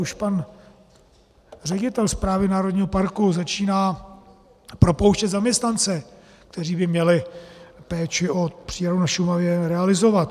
Už pan ředitel správy národního parku začíná propouštět zaměstnance, kteří by měli péči o přírodu na Šumavě realizovat.